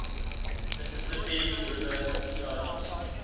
mississippi river discharges